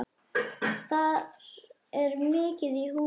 Þar er mikið í húfi.